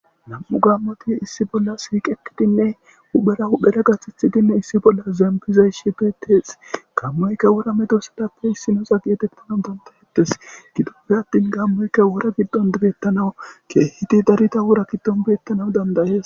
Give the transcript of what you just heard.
nam7u gammoti issi bolla siiqekidinne uphera hudhera gathithidinne issi bolla zembizay shi beetes gammoyka wora medo sadappe issinosa gi etettanau dandayettes gidoppe attin gammoyka wora giddon dibettanawu keehiti darita wora giddon beettanaw dandayees